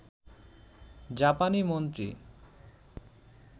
জাপানি মন্ত্রী